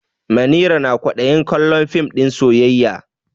Manira na kwaɗayin kallon fim ɗin soyayya.